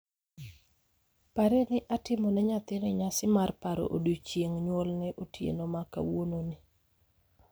parie ni atimo ne nyathini nyasi mar paro odiechieng' nyuolne otieno ma kawuononi.